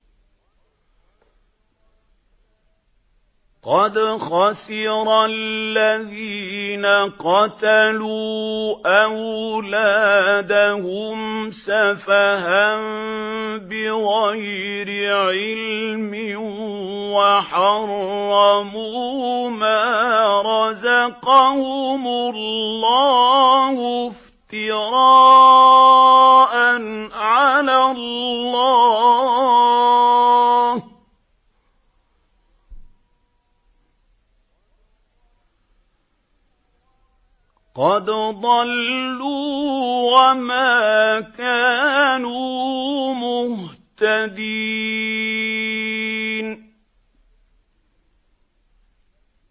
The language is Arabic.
قَدْ خَسِرَ الَّذِينَ قَتَلُوا أَوْلَادَهُمْ سَفَهًا بِغَيْرِ عِلْمٍ وَحَرَّمُوا مَا رَزَقَهُمُ اللَّهُ افْتِرَاءً عَلَى اللَّهِ ۚ قَدْ ضَلُّوا وَمَا كَانُوا مُهْتَدِينَ